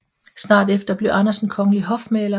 Snart efter blev Andersen kongelig hofmaler